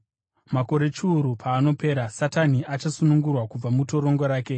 Makore chiuru paanopera, Satani achasunungurwa kubva mutorongo rake